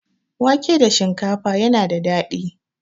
Wake da shinkafa yana da daɗi.